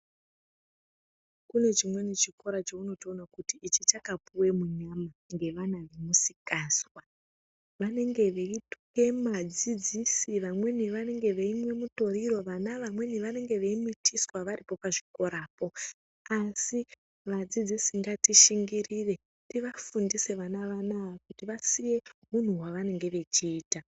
Kunechimweni chikora chaunoona kuti ichi chakapuwa munyama ngevana vemusikazwa vanenge veituka vadzidzisi vamweni vanenge veimwe mitoriro vana vamweni vanenge veimitiswa varipo pachikora po asi vadzidzisi ngatishingirire tivafundise vana vana kuti vasiye hwunu hwavanenge veita.